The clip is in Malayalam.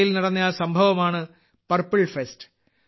ഗോവയിൽ നടന്ന ആ സംഭവമാണ് പർപ്പിൾ ഫെസ്റ്റ്